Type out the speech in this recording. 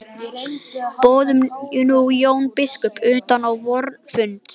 Boðum nú Jón biskup utan á vorn fund.